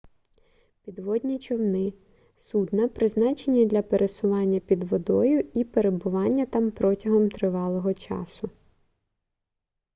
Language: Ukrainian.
підводні човни судна призначені для пересування під водою і перебування там протягом тривалого часу